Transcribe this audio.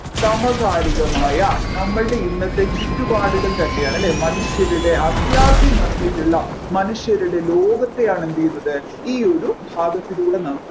സമകാലികമായ നമ്മുടെ ഇന്നത്തെ ചുറ്റുപാടുകൾ താന്നെയാണ് അല്ലെ മനുഷ്യരുടെ അത്യാർത്തി നിറഞ്ഞിട്ടുള്ള മനുഷ്യരുടെ ലോകത്തെയാണ് എന്ത് ചെയ്യുന്നത് ഈ ഒരു ഭാഗത്തിലൂടെ നമ്മുക്ക്